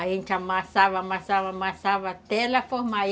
A gente amassava, amassava, amassava até ela formar.